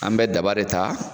An bɛ daba de ta